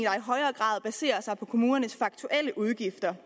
højere grad baserer sig på kommunernes faktuelle udgifter